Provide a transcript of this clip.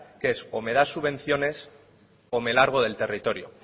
que es o me das subvenciones o me largo del territorio